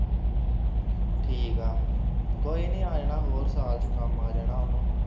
ਠੀਕ ਆ ਕੋਈ ਨਹੀਂ ਆ ਜਾਣਾ ਹੋਰ ਸਾਲ ਚ ਕੰਮ ਆ ਜਾਣਾ ਓਹਨੂੰ